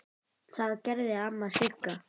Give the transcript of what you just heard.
Það gerði amma Sigga.